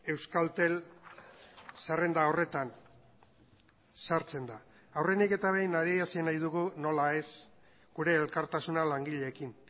orain euskaltel zerrenda horretan sartzen aurrenik eta behin adierazi nahi dugu nola ez gure elkartasuna langileekin